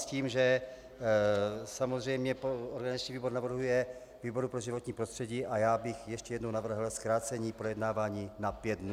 S tím, že samozřejmě organizační výbor navrhuje výboru pro životní prostředí a já bych ještě jednou navrhl zkrácení projednávání na pět dnů.